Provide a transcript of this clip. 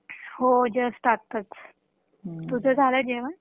हो जस्ट आत्ताच तुझं झालं जेवन